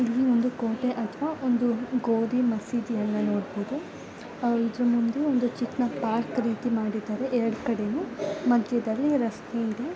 ಇಲ್ಲಿ ಒಂದು ಕೋಟೆ ಅಥವಾ ಒಂದು ಗೋದಿ ಮಸೀದಿ ಅಣ್ಣ ನೋಡಬಹುದು ಇದು ಒಂದು ಚಿಕ್ಕ ಪಾರ್ಕ್ ರೀತಿ ಮಾಡಿದಾರೆ ಎರ್ಡ್ ಕಡೆನೂ ಮಧ್ಯದಲ್ಲಿ ರಸ್ತೆ ಇದೆ.